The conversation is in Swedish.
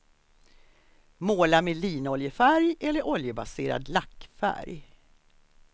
Måla med linoljefärg eller oljebaserad lackfärg.